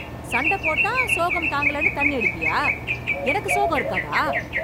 சண்டப் போட்டா சோகம் தாங்கலேன்னு தண்ணி அடிப்பயா? எனக்கு சோகம் இருக்காதா?